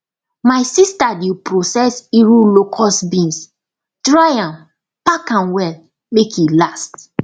my sister dey process iru locust beans dry am pack am well make e last